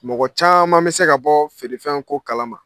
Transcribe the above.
Mɔgɔ caman bɛ se ka bɔ feerefɛn ko kalama.